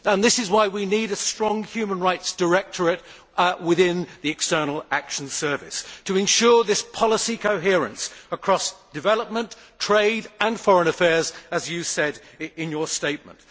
This is why we need a strong human rights directorate within the External Action Service, to ensure this policy coherence across development, trade and foreign affairs as you said in your statement.